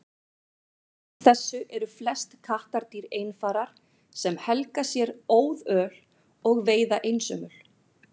ólíkt þessu eru flest kattardýr einfarar sem helga sér óðöl og veiða einsömul